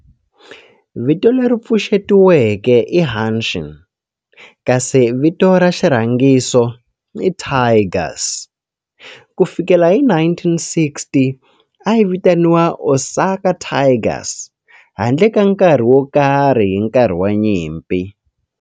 Vito leri pfuxetiweke i Hanshin kasi vito ra xirhangiso i Tigers. Ku fikela hi 1960, a yi vitaniwa Osaka Tigers handle ka nkarhi wo karhi hi nkarhi wa nyimpi.